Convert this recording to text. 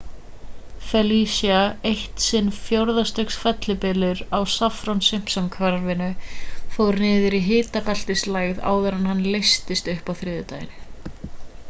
felicia eitt sinn fjórða stigs fellibylur á saffir-simpson-kvarðanum fór niður í hitabeltislægð áður en hann leystist upp á þriðjudag